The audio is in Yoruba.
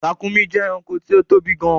Ràkúnmí jẹ́ ẹranko tí ó tóbi gan-an